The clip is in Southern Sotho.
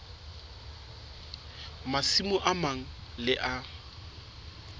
masimo a mang le a